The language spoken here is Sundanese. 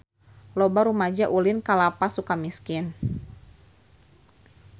Loba rumaja ulin ka Lapas Sukamiskin